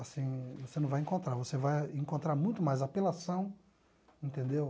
assim, você não vai encontrar, você vai encontrar muito mais apelação, entendeu?